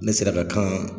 Ne sera ka kan